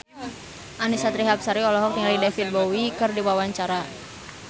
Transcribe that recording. Annisa Trihapsari olohok ningali David Bowie keur diwawancara